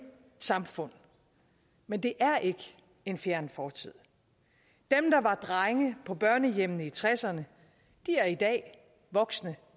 samfund men det er ikke en fjern fortid dem der var drenge på børnehjemmene i nitten tresserne er i dag voksne